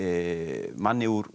manni úr